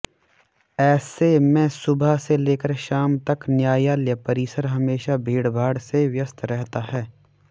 ऐेसे में सुबह से लेकर शाम तक न्यायालय परिसर हमेशा भीड़भाड़ से व्यस्त रहता है